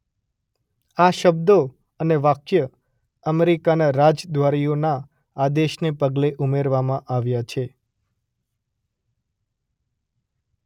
આ શબ્દો અને વાક્ય અમેરિકાના રાજદ્વારીઓના આદેશને પગલે ઉમેરવામાં આવ્યાં છે.